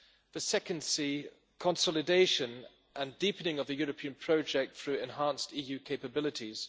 The second c' consolidation and deepening of the European project through enhanced EU capabilities.